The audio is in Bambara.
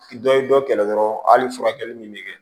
Dɔ ye dɔ kɛlɛ dɔrɔn hali furakɛli min bɛ kɛ